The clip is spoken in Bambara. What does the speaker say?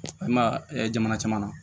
I ma ye jamana caman na